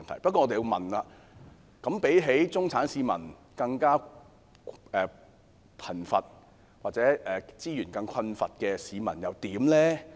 不過，我們要問，相比中產市民，更貧窮或資源更困乏的市民又如何？